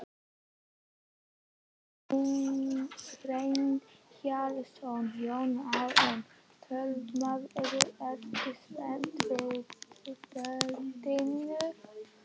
Kjartan Hreinn Njálsson: Jón Arnór töframaður, ertu spenntur fyrir kvöldinu?